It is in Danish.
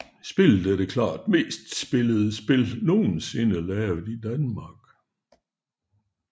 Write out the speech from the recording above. Spillet er det klart mest spillede spil nogensinde lavet i Danmark